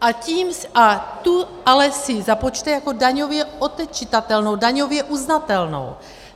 A tu ale si započte jako daňově odečitatelnou, daňově uznatelnou.